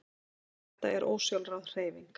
Þetta er ósjálfráð hreyfing.